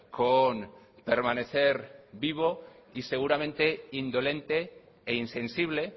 con permanecer vivo y seguramente indolente e insensible